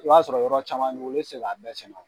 I b'a sɔrɔ yɔrɔ caman b'i bolo e tɛ se k'a bɛɛ sɛnɛ